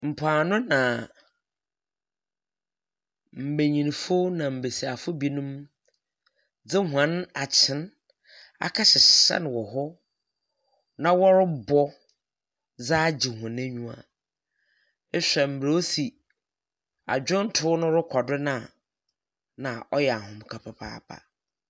Mpoano na mbanyinfo na mbesiafo binom dze wɔn akyem, wakɔhyehyɛ no wɔ hɔ, na wɔbɔ dze agye wɔn enyiwa. Ehwɛ mmrɛ osi adwonto rekɔ do na, ɔyɛ ahomka papaapa.